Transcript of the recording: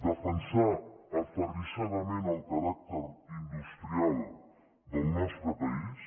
defensar aferrissadament el caràcter industrial del nostre país